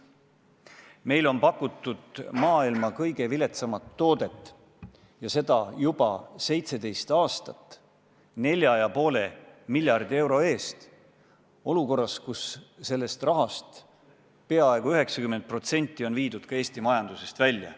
Meile on pakutud maailma kõige viletsamat toodet, ja seda juba 17 aastat, nelja ja poole miljardi euro ulatuses, kusjuures sellest rahast peaaegu 90% on viidud Eesti majandusest välja.